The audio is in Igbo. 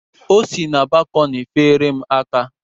O si na balkọni feere m aka.